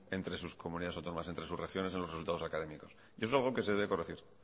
entre sus comunidades autónomas entre sus regiones en los resultados académicos eso es algo que se debe corregir